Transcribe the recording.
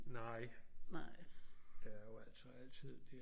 Nej der er jo altså altid det